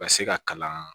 Ka se ka kalan